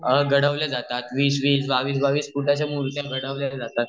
घडवलेल्या जातात वीस वीस बावीस फुटाच्या मुर्त्या घडवलेल्या जातात